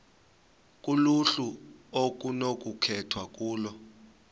kuluhlu okunokukhethwa kulo